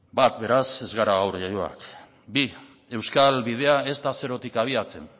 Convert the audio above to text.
bat beraz ez gara gaur jaioak bi euskal bidea ez da zerotik abiatzen